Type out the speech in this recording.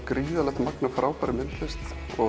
gríðarlegt magn af frábærri myndlist